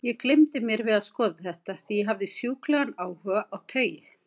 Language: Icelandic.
Ég gleymdi mér við að skoða þetta, því ég hafði sjúklegan áhuga á taui.